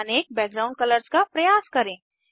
अनेक background colours का प्रयास करें